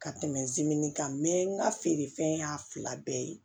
Ka tɛmɛ kan n ka feerefɛn y'a fila bɛɛ ye